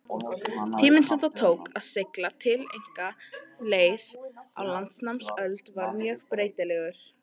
Tíminn sem það tók að sigla tiltekna leið á landnámsöld var mjög breytilegur.